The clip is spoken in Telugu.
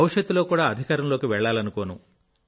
భవిష్యత్తులో కూడా అధికారంలోకి వెళ్లాలనుకోను